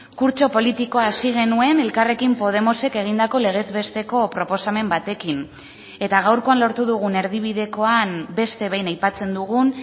kurtso politikoa hasi genuen elkarrekin podemosek egindako legez besteko proposamen batekin eta gaurkoan lortu dugun erdibidekoan beste behin aipatzen dugun